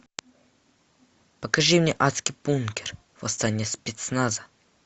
покажи мне адский бункер восстание спецназа